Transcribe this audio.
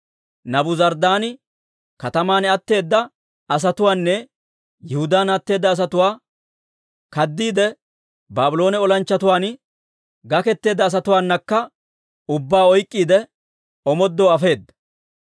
Naabuzaradaani kataman atteeda asatuwaanne Yihudaan atteeda asatuwaa, kaddiide Baabloone olanchchatuwaan gaketeedda asatuwaanakka ubbaa oyk'k'iide, omoodoo afeedda.